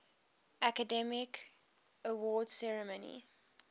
academy awards ceremony